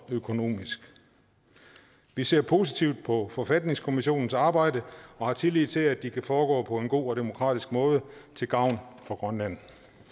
økonomisk vi ser positivt på forfatningskommissionens arbejde og har tillid til at det kan foregå på en god og demokratisk måde til gavn for grønland